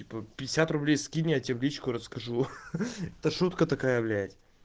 типа пятьдесят рублей скинь я тебе в личку расскажу ха ха это шутка такая блять